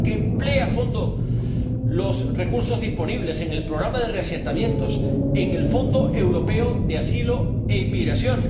para que emplee a fondo los recursos disponibles en el programa de reasentamientos del Fondo Europeo de Asilo y Migración